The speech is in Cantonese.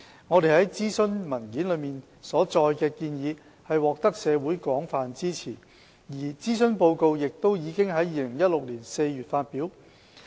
我們在諮詢文件中所載的建議獲得社會廣泛支持，而諮詢報告亦已於2016年4月發表。